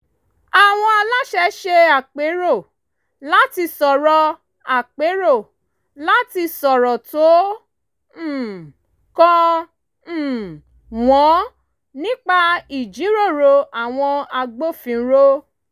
àwọn aláṣẹ ṣe àpérò láti sọ̀rọ̀ àpérò láti sọ̀rọ̀ tó um kàn um wọ́n nípa ìjíròrò àwọn agbófinró